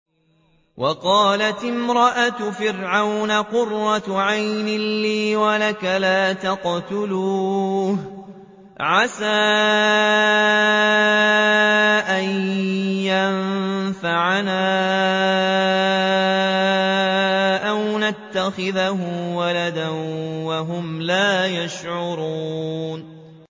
وَقَالَتِ امْرَأَتُ فِرْعَوْنَ قُرَّتُ عَيْنٍ لِّي وَلَكَ ۖ لَا تَقْتُلُوهُ عَسَىٰ أَن يَنفَعَنَا أَوْ نَتَّخِذَهُ وَلَدًا وَهُمْ لَا يَشْعُرُونَ